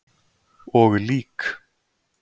Og lík.